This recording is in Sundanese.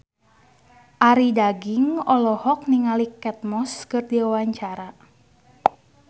Arie Daginks olohok ningali Kate Moss keur diwawancara